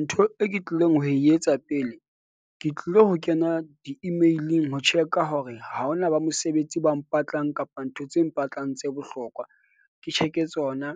Ntho e ke tlileng ho e etsa pele. Ke tlilo ho kena di-email-ing ho check-a hore ha hona ba mosebetsi ba mpatlang kapa ntho tse mpatlang tse bohlokwa. Ke check-e tsona.